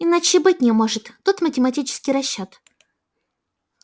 иначе и быть не может тут математический расчёт